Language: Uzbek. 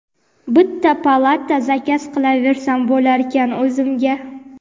bitta palata zakaz qilaversam bo‘larkan o‘zimga.